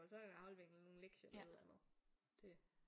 Og så er der en aflevering og nogle lektier eller noget andet det